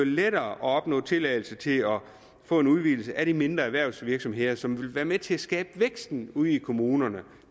lettere at opnå tilladelse til at få en udvidelse af de mindre erhvervsvirksomheder som vil være med til at skabe væksten ude i kommunerne